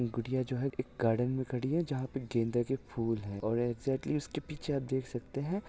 गुड़िया जो है एक गार्डन में खड़ी है जहाँ पर गेंदे के फूल है और एक्साक्टली उसके पीछे आप देख सकते हैं।